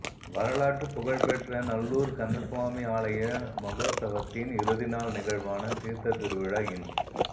வரலாற்றுப் புகழ்பெற்ற நல்லூர் கந்தசுவாமி ஆலய மகோற்சவத்தின் இறுதிநாள் நிகழ்வான தீர்த்தத் திருவிழா இன்